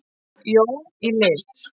Jón í lit.